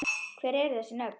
Hver eru þessu nöfn?